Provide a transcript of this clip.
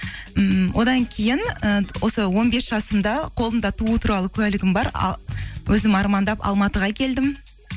ммм одан кейін ііі осы он бес жасымда қолымда туу туралы куәлігім бар өзім армандап алматыға келдім